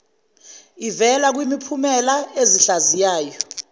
ivela kumiphumela ezihlaziyayo